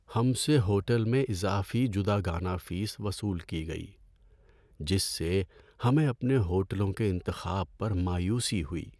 ہم سے ہوٹل میں اضافی جداگانہ فیس وصول کی گئی، جس سے ہمیں اپنے ہوٹلوں کے انتخاب پر مایوسی ہوئی۔